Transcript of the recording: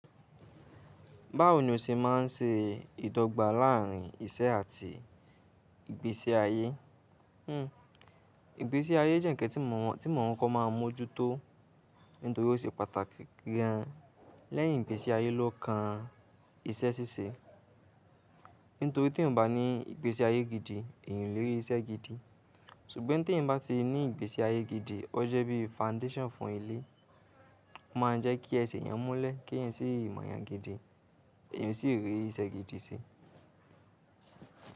Báwo ni o ṣe má n se ìdọ́gba láàárín ìṣe àti ìgbésí ayé? Hmm, ìgbésí ayé jẹ́ ǹkan, tí mọ̀mọ́ ko máa mọ́jú tó, nítorí ó ṣe pàtàkì gan lẹ́yìn ìgbésí ayé lọ́ kan ìṣe ṣíṣe. Nítorí t'eeyań bá ní ìgbésí ayé gidi, èeyan o lè rí ìṣe gidi. Ṣùgbọ́n tí eeyań bá ti ní ìgbésí ayé gidi, o jẹ́ bí foundation fún ilé. Ó máa ń jẹ́ kí ẹsẹ̀ yẹn múlẹ̀, kí eeyan sì mọ̀yàn gidi, èeyan sì rí ìṣe gidi se.